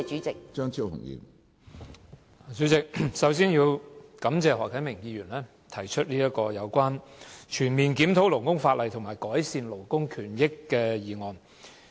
主席，我首先感謝何啟明議員提出"全面檢討勞工法例，改善勞工權益"的議案。